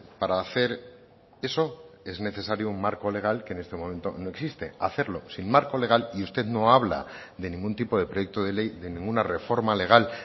para hacer eso es necesario un marco legal que en este momento no existe hacerlo sin marco legal y usted no habla de ningún tipo de proyecto de ley de ninguna reforma legal